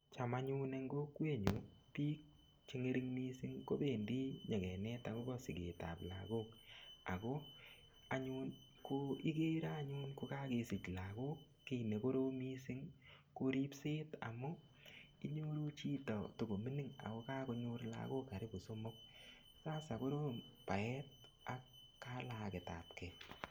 Cham anyun eng kokwenyu biik chengering missing kobendi nyekenet akobo siket ap lakok ako anyun ko igere anyun kokakesich lakok kiy nekorom mising ko ripset amun inyoru chito tokomining ako kakonyor lakok karibu somok sasa korom baet ak kalaket ap kee